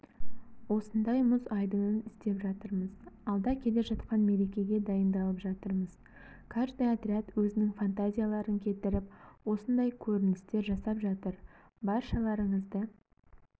осындай мұз айдынын істеп жатырмыз алда келе жатқан мерекеге дайындалып жатырмыз каждый отряд өзінің фантазияларын келтіріп осындай көріністер жасап жатыр баршаларыңызды